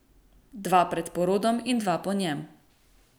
Dva pred porodom in dva po njem.